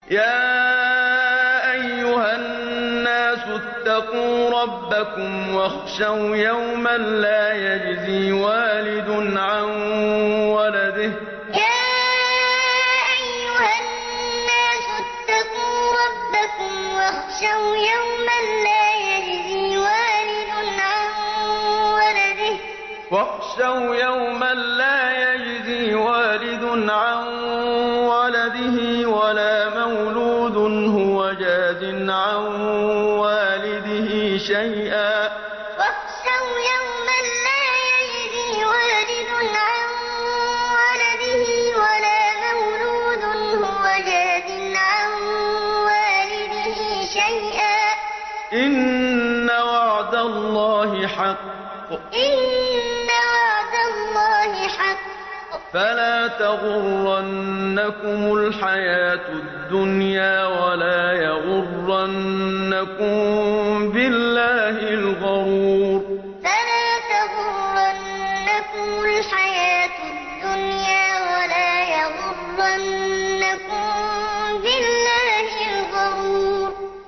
يَا أَيُّهَا النَّاسُ اتَّقُوا رَبَّكُمْ وَاخْشَوْا يَوْمًا لَّا يَجْزِي وَالِدٌ عَن وَلَدِهِ وَلَا مَوْلُودٌ هُوَ جَازٍ عَن وَالِدِهِ شَيْئًا ۚ إِنَّ وَعْدَ اللَّهِ حَقٌّ ۖ فَلَا تَغُرَّنَّكُمُ الْحَيَاةُ الدُّنْيَا وَلَا يَغُرَّنَّكُم بِاللَّهِ الْغَرُورُ يَا أَيُّهَا النَّاسُ اتَّقُوا رَبَّكُمْ وَاخْشَوْا يَوْمًا لَّا يَجْزِي وَالِدٌ عَن وَلَدِهِ وَلَا مَوْلُودٌ هُوَ جَازٍ عَن وَالِدِهِ شَيْئًا ۚ إِنَّ وَعْدَ اللَّهِ حَقٌّ ۖ فَلَا تَغُرَّنَّكُمُ الْحَيَاةُ الدُّنْيَا وَلَا يَغُرَّنَّكُم بِاللَّهِ الْغَرُورُ